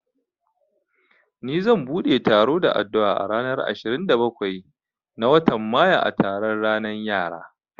Ni zan bude taro da addu'a a ranar ashirin da bakwai na watan mayu a taron ranan yara